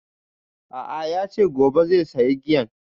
A'a yace sai gobe zai saya giyan